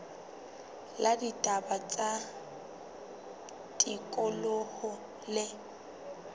la ditaba tsa tikoloho le